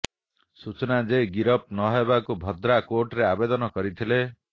ସୂଚନା ଯେ ଗିରଫ ନହେବାକୁ ଭଦ୍ରା କୋର୍ଟରେ ଆବେଦନ କରିଥିଲେ